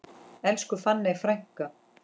Elsku fanney frænka.